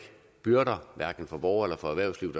byrder hverken for borgere eller for erhvervslivet